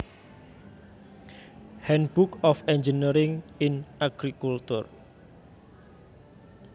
handbook of engineering in agriculture